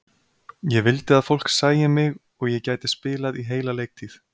Ég vildi að fólk sæi mig og ég gæti spilað í heila leiktíð.